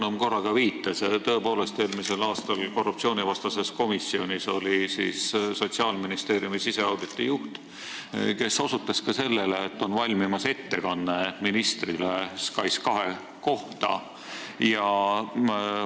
Nagu Monika Haukanõmm viitas, oli eelmisel aastal korruptsioonivastases komisjonis tõepoolest Sotsiaalministeeriumi siseauditi juht, kes osutas sellele, et SKAIS2 kohta valmib ettekanne ministrile.